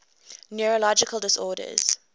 neurological disorders